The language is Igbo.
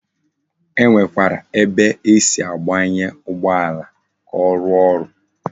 E Nwekwara ebe esi agbanye Ugbo ala, ka o ruo oru